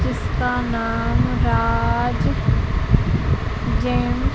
इसका नाम राज जैन --